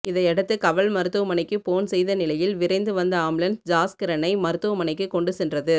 இதையடுத்து கவல் மருத்துவமனைக்கு போன் செய்த நிலையில் விரைந்து வந்த ஆம்புலன்ஸ் ஜாஸ்கிரனை மருத்துவமனைக்கு கொண்டு சென்றது